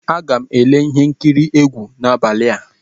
Aga m ele ihe nkiri egwu n'abalị a.